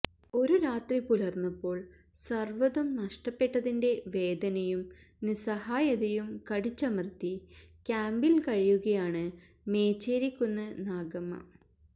ഒരു രാത്രി പുലർന്നപ്പോൾ സർവ്വതും നഷ്ടപ്പെട്ടതിന്റെ വേദനയും നിസ്സഹായതയും കടിച്ചമർത്തി ക്യാമ്പിൽ കഴിയുകയാണ് മേച്ചേരിക്കുന്ന് നാഗമ്മ